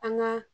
An ga